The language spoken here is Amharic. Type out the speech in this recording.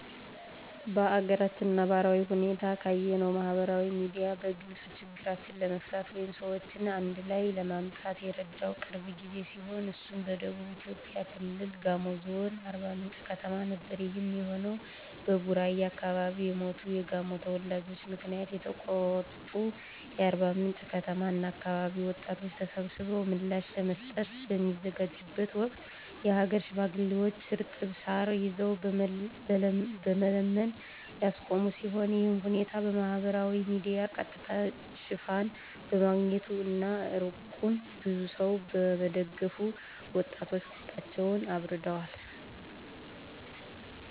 በአገራችን ነባራዊ ሁኔታ ካየነው ማህበራዊ ሚዲያ በግልጽ ችግሮችን ለመፍታት ወይም ሰዎችን አንድላይ ለማምጣት የረዳው ቅርብ ጊዜ ሲሆን እሱም በደቡብ ኢትዮጵያ ክልል ጋሞ ዞን አርባምንጭ ከተማ ነበር። ይሄም የሆነው በቡራዩ አከባቢ የሞቱ የጋሞ ተወላጆች ምክንያት የተቆጡ የአርባምንጭ ከተማ እና አከባቢ ወጣቶች ተሰብስበው ምላሽ ለመስጠት በሚዘጋጁበት ወቅት የሀገር ሽማግሌዎች እርጥብ ሳር ይዘው በመለመን ያስቆሙ ሲሆን ይሄም ሁነት በማህበራዊ ሚዲያ ቀጥታ ሽፋን በማግኘቱ እና እርቁን ብዙ ሰው በመደገፉ ወጣቶች ቁጣቸውን አብርደዋል።